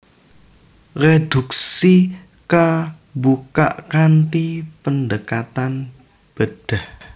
Reduksi kabukak kanthi pendekatan bedhah